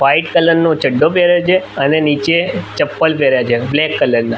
White colour નો ચડ્ડો પેહેર્યો છે અને નીચે ચપ્પલ પેહેર્યા છે બ્લેક કલર ના.